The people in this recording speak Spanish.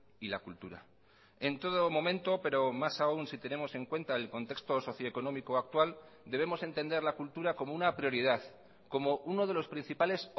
y la cultura en todo momento pero más aun si tenemos en cuenta el contexto socioeconómico actual debemos entender la cultura como una prioridad como uno de los principales